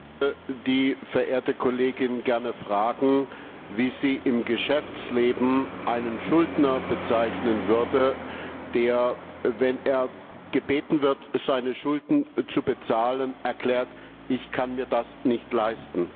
Ich möchte die verehrte Kollegin gern fragen, wie sie im Geschäftsleben einen Schuldner bezeichnen würde, der, wenn er gebeten wird, seine Schulden zu bezahlen, erklärt Ich kann mir das nicht leisten.